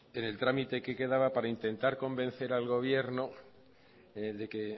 en el trámite que quedaba para intentar convencer al gobierno de que